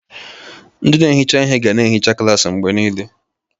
Ndị na-ehicha ihe ga na-ehicha klaasị mgbe niile.